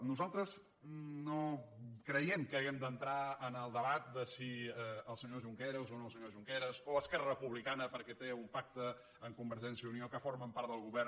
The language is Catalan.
nosaltres no creiem que hàgim d’entrar en el debat de si el senyor junqueras o no el senyor junqueras o esquerra republicana perquè té un pacte amb convergència i unió que formen part del govern